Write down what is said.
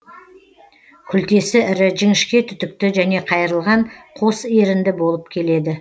күлтесі ірі жіңішке түтікті және қайырылған қос ерінді болып келеді